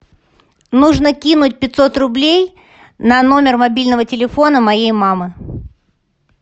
нужно кинуть пятьсот рублей на номер мобильного телефона моей мамы